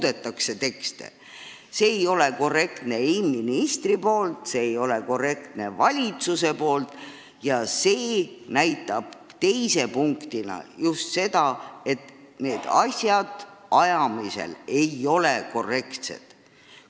See ei näita ministri korrektsust, see ei näita valitsuse korrektsust, see näitab just nimelt seda, et asju ei aeta korrektselt.